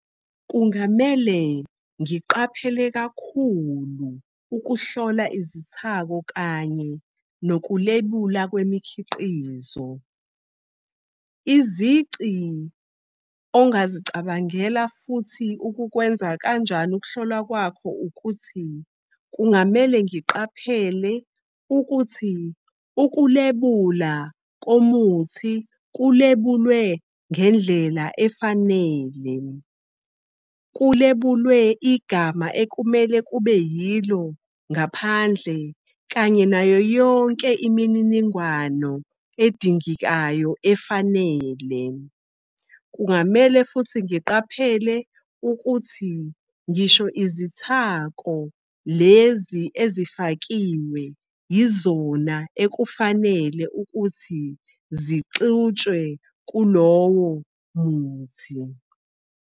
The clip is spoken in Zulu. Kungamele ngiqaphele kakhulu ukuhlola izithako kanye nokulebula kwemikhiqizo. Izici ongazicabangela futhi ukukwenza kanjani ukuhlolwa kwakho, ukuthi kungamele ngiqaphele ukuthi ukulebula komuthi kulebulwe ngendlela efanele. Kulebulwe igama ekumele kube yilo ngaphandle kanye nayo yonke imininingwano edingekayo efanele. Kungamele futhi ngiqaphele ukuthi ngisho izithako lezi ezifakiwe, yizona ekufanele ukuthi zixutshwe kulowo muthi.